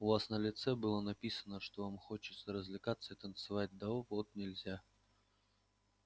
у вас на лице было написано что вам хочется развлекаться и танцевать да вот нельзя